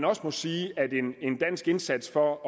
også sige at en dansk indsats for at